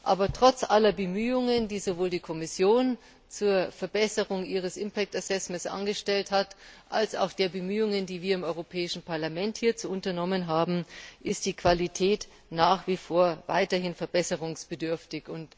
Aber trotz aller Bemühungen, die sowohl die Kommission zur Verbesserung ihres impact assessment angestellt hat, als auch der Bemühungen, die wir im Europäischen Parlament hierzu unternommen haben, ist die Qualität nach wie vor weiterhin verbesserungsbedürftig.